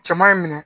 Cɛman y'i minɛ